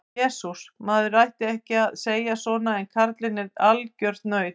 Jesús, maður ætti ekki að segja svona en karlinn er algjört naut.